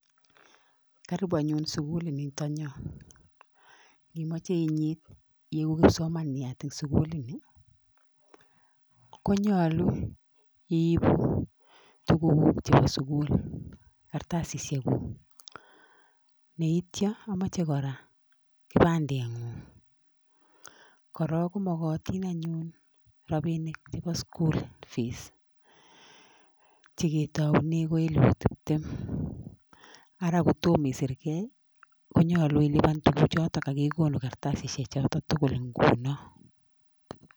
Karibu anyun sukulit yo. Imache inyit iegu kipsomanyat eng sukulit ni, konyalu iibu tukukuk chebo sugul, kartasisiek. Neityo komachei kora kibandet ny'ung. Kora komakatin rabinik chebo school fees, cheketaune ki elilu tiptem, ara kotom isirgei konyalu iibu tukuchotok ak elipu tiptem. Konu kartasisiek chotok tugul nguno.